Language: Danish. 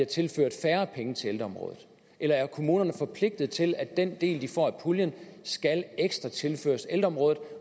tilført færre penge til området eller er kommunerne forpligtet til at den del de får af puljen skal ekstra tilføres ældreområdet